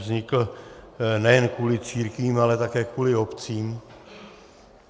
Vznikl nejen kvůli církvím, ale také kvůli obcím.